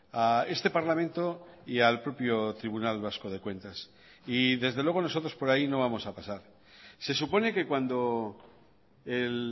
a este parlamento y al propio tribunal vasco de cuentas y desde luego nosotros por ahí no vamos a pasar se supone que cuando el